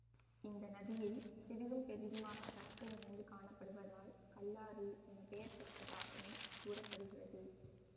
இந்த நதியில் சிறிதும் பெரிதுமாக கற்கள் நிறைந்து காணப்படுவதால் கல்லாறு என பெயர் பெற்றதாகவும் கூற படுகிறது